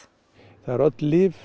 öll lyf